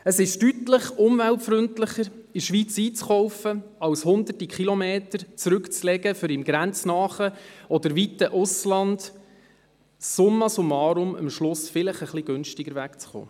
Es ist deutlich umweltfreundlicher, in der Schweiz einzukaufen, statt hunderte Kilometer zurückzulegen, um im grenznahen oder entfernten Ausland summa summarum am Schluss vielleicht etwas günstiger wegzukommen.